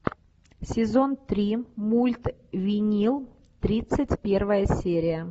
сезон три мульт винил тридцать первая серия